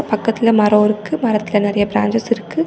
பக்கத்துல மரம் இருக்கு. மரத்தில நெறைய பிரான்சேஸ் இருக்கு.